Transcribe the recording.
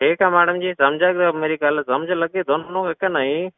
ਠੀਕ ਹੈ madam ਜੀ ਸਮਝ ਗਏ ਮੇਰੀ ਗੱਲ, ਸਮਝ ਲੱਗੀ ਤੁਹਾਨੂੰ ਵੀ ਕਿ ਨਹੀਂ।